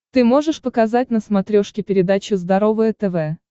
ты можешь показать на смотрешке передачу здоровое тв